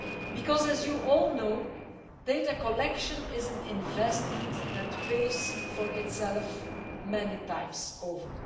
Because, as you all know, data collection is an investment that pays for itself many times over.